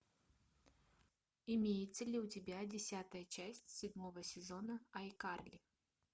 имеется ли у тебя десятая часть седьмого сезона айкарли